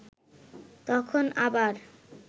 তখন আবার